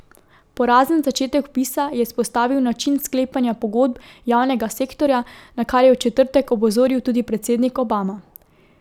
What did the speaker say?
Porazen začetek vpisa je izpostavil način sklepanja pogodb javnega sektorja, na kar je v četrtek opozoril tudi predsednik Obama.